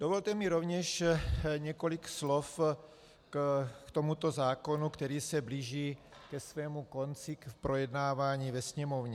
Dovolte mi rovněž několik slov k tomuto zákonu, který se blíží ke svému konci v projednávání ve Sněmovně.